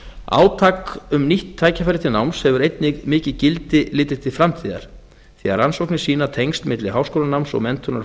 átak um nýtt tækifæri til náms hefur einnig mikið gildi litið til framtíðar því að rannsóknir sýna tengsl milli háskólanáms og menntunar